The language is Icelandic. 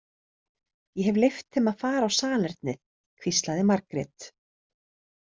Ég hef leyft þeim að fara á salernið, hvíslaði Margrét.